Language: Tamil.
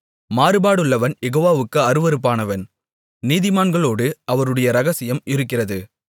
மாறுபாடுள்ளவன் யெகோவாவுக்கு அருவருப்பானவன் நீதிமான்களோடு அவருடைய இரகசியம் இருக்கிறது